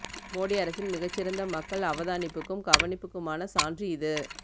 மோடி அரசின் மிக சிறந்த மக்கள் அவதானிப்புக்கும் கவனிப்புக்குமான சான்று இது